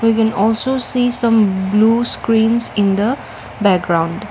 we can also see some blue screens in the background.